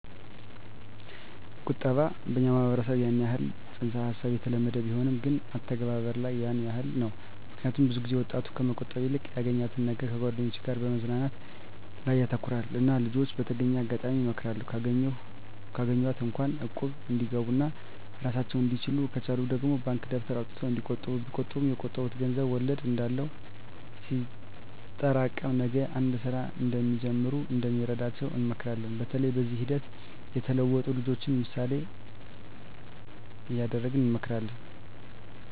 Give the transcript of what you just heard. ቁጠባ በኛ ማህበረሰብ ያን የህል ፅንስ ሀሳቡ የተለመደ ቢሆንም ግን አተገባበር ላይ ያን የህል ነው ምክኒያቱም ብዙ ጊዜ ወጣቱ ከመቆጠብ ይልቅ ያገኛትን ነገር ከጓደኞቻቸው ጋር መዝናናት ላይ ያተኩራሉ እና ልጅች በተገኘው አጋጣሚ እመክራለሁ ካገኟት እንኳ እቁብ እንዲገቡ ኦና እራሳቸውን እንድችሉ ከቻሉ ደግሞ ባንክ ደብተር አውጥተው እንዲቆጥቡ ቢቆጥቡ የቆጠቡት ገንዘብ ወለድ እንዳለው ሲጠሬቀም ነገ አንድ ስራ እንዲጀምሩ እንደሚረዳቸው እንመክራለን በተለይ በዚህ ሂደት የተለወጡ ልጅችን ምሳሌ እደረግ እንመክራለን።